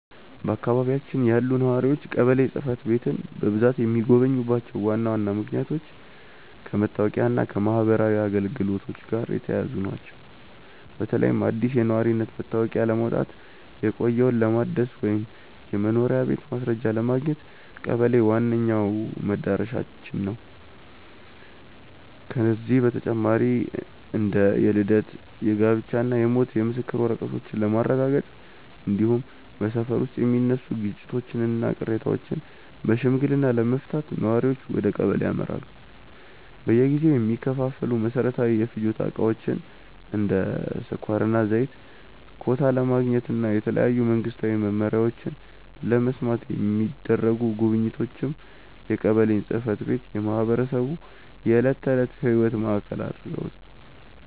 በአካባቢያችን ያሉ ነዋሪዎች ቀበሌ ጽሕፈት ቤትን በብዛት የሚጎበኙባቸው ዋና ዋና ምክንያቶች ከመታወቂያና ከማኅበራዊ አገልግሎቶች ጋር የተያያዙ ናቸው። በተለይም አዲስ የነዋሪነት መታወቂያ ለማውጣት፣ የቆየውን ለማደስ ወይም የመኖሪያ ቤት ማስረጃ ለማግኘት ቀበሌ ዋነኛው መድረሻችን ነው። ከዚህ በተጨማሪ እንደ የልደት፣ የጋብቻና የሞት የምስክር ወረቀቶችን ለማረጋገጥ፣ እንዲሁም በሰፈር ውስጥ የሚነሱ ግጭቶችንና ቅሬታዎችን በሽምግልና ለመፍታት ነዋሪዎች ወደ ቀበሌ ያመራሉ። በየጊዜው የሚከፋፈሉ መሠረታዊ የፍጆታ ዕቃዎችን (እንደ ስኳርና ዘይት) ኮታ ለማግኘትና የተለያዩ መንግስታዊ መመሪያዎችን ለመስማት የሚደረጉ ጉብኝቶችም የቀበሌን ጽሕፈት ቤት የማኅበረሰቡ የዕለት ተዕለት ሕይወት ማዕከል ያደርጉታል።